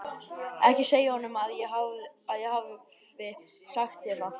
Ekki segja honum að ég hafi sagt þér það.